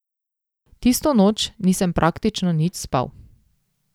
Tisto noč nisem praktično nič spal.